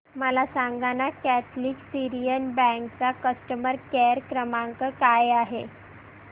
मला सांगाना Catholic Syrian bank चा कस्टमर केअर क्रमांक काय आहे